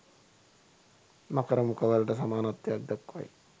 මකර මුඛවලට සමානත්වයක් දක්වයි.